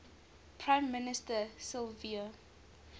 prime minister silvio